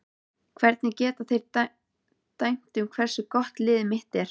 Hvernig geta þeir dæmt um hversu gott liðið mitt er?